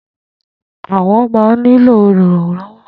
Àwọn ma ń ní lò olùrànlọ̀wọ́.